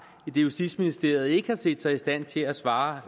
idet justitsministeriet ikke har set sig i stand til at svare